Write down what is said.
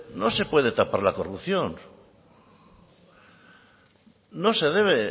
no se puede tapar la corrupción no se debe